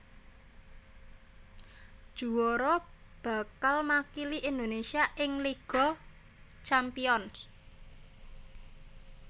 Juwara bakal makili Indonésia ing Liga Champions